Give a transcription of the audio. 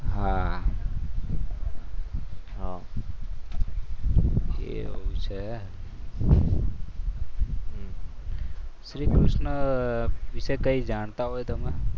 હા એવું છે? શ્રીકૃષ્ણ વિશે જાણતા હોય તમે?